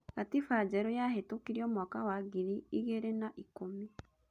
Gatiba njerũ yahetũkirio mwaka wa ngiri igĩrĩ na ikũmi.